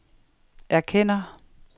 erkender